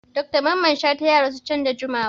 Dr Mamman Shata ya rasuwa can da jimawa.